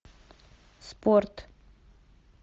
спорт